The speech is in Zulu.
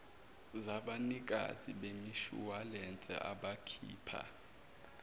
zabanikazi bemishuwalense abakhipha